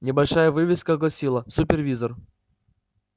небольшая вывеска гласила супервизор